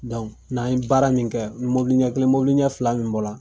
Dɔnku n'an ye baara min kɛ ni mɔbili ɲɛ kelen mɔlibili fila min bɔla